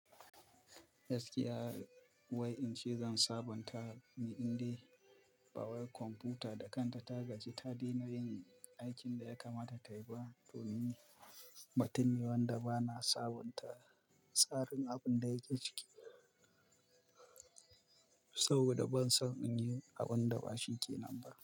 Gaskiya wai in ce zan sabunta miɗin ɗin power computer da kanta ta gaji. Ta daina yin aikin da ya kamata tayi ba don matuniyawan da ba na sabunta tsarin abin da yake ciki saboda ban san in yi abin da bashi kenan ba.